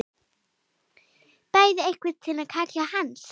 Berðu einhvern kala til hans?